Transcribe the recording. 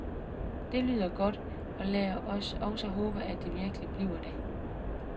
Det lyder godt, og lad os også håbe, at det virkelig bliver det.